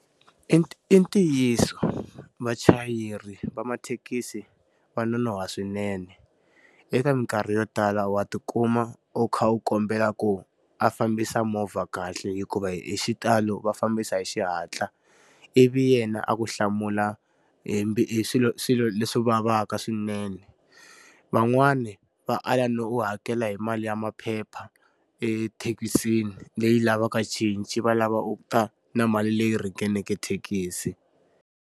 I ntiyiso vachayeri va mathekisi va nonoha wa swinene. Eka minkarhi yo tala wa ti kuma u kha u kombela ku a fambisa movha kahle hikuva hi xitalo va fambisa hi xihatla. Ivi yena a ku hlamula hi swilo swilo leswi vavaka swinene. Van'wani va ala no u hakela hi mali ya maphepha ethekisini leyi lavaka cinci, va lava u ta na mali leyi ringaneke thekisi.